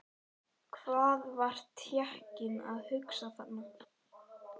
Hvað var Tékkinn að hugsa þarna?